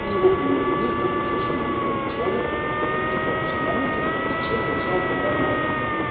и его премьер-министр совершено уникальный человек виктор степанович черномырдин совершенно начесал гениальную фразу